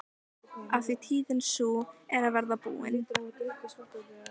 Af því tíðin sú er að verða búin.